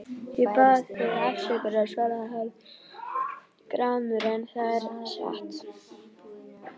Ég bað þig afsökunar, svaraði hann gramur,-en það er satt.